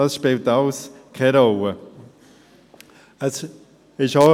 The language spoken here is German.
Dies alles spielt keine Rolle.